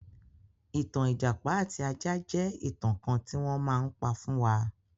Ìtàn ìjàpá àti ajá jẹ́ ìtàn kan tí wọ́n má ń pa fún wa.